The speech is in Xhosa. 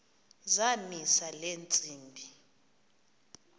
zamisa le ntsimbi